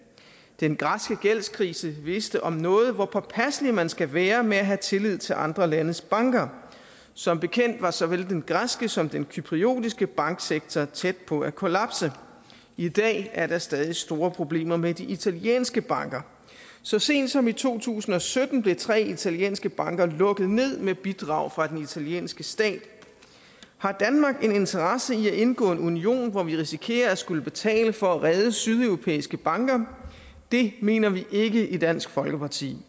den græske gældskrise viste om noget hvor påpasselig man skal være med at have tillid til andre landes banker som bekendt var såvel den græske som den cypriotiske banksektor tæt på at kollapse i dag er der stadig store problemer med de italienske banker så sent som i to tusind og sytten blev tre italienske banker lukket ned med bidrag fra den italienske stat har danmark en interesse i at indgå i en union hvor vi risikerer at skulle betale for at redde sydeuropæiske banker det mener vi ikke i dansk folkeparti